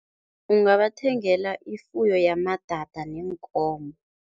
Ungabathengela ifuyo yamadada neenkomo.